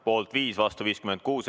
Poolt on 5 ja vastu 56.